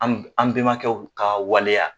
An an benmaakɛ ka waleya